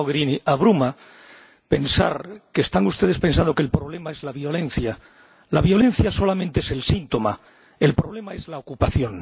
señora Mogherini, abruma pensar que están ustedes pensando que el problema es la violencia. La violencia solamente es el síntoma, el problema es la ocupación.